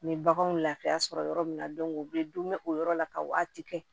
U ye baganw lafiya sɔrɔ yɔrɔ min na u bɛ dun bɛ o yɔrɔ la ka waati kɛ